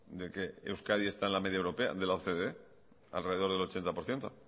de que euskadi está en la media europea de la ocde alrededor del ochenta por ciento